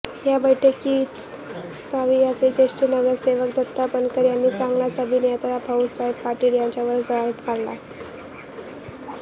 याबैठकीत साविआचे ज्येष्ठ नगरसेवक दत्ता बनकर यांनी चांगलाच अभियंता भाऊसाहेब पाटील यांच्यावर जाळ काढला